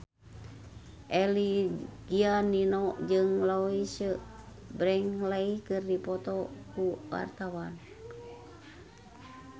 Eza Gionino jeung Louise Brealey keur dipoto ku wartawan